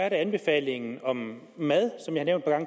en anbefaling om mad